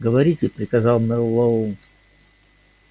говорите приказал мэллоу